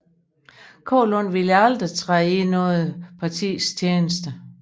Kaalund ville aldrig træde i noget partis tjeneste